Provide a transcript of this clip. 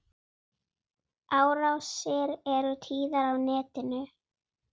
Síðustu árin voru Ruth erfið.